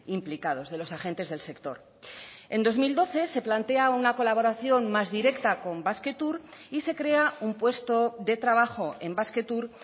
implicados de los agentes del sector en dos mil doce se plantea una colaboración más directa con basquetour y se crea un puesto de trabajo en basquetour